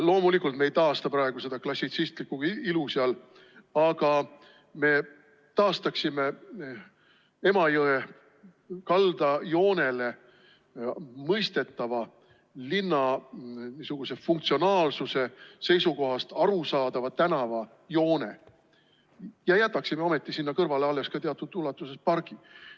Loomulikult ei taasta me praegu seal seda klassitsistlikku ilu, aga me taastaksime Emajõe kaldajoonele mõistetava, linna funktsionaalsuse seisukohast arusaadava tänavajoone ja jätaksime sinna kõrvale teatud ulatuses alles ka pargi.